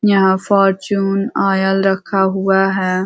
यहाँ Fortune oil रखा हुआ है।